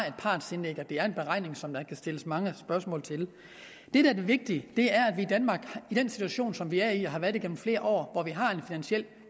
et partsindlæg og det er en beregning som der kan stilles mange spørgsmål til det vigtige er at vi i danmark i den situation som vi er i og har været i gennem flere år hvor vi har en finansiel